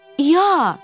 İya!